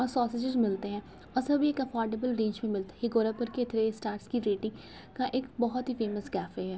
मिलते हैं और सभी अफॉर्डेबल बेंच भी मिलते हैं। ये गोरखपुर के थ्री स्टार की रेटिंग का एक बहुत ही फेमस कैफै है।